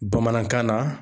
Bamanankan na